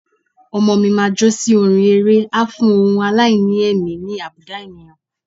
Ọmọọ̀ mi máa jó sí orin eré a fún ohun aláìní ẹ̀mí ní àbùdá ènìyàn.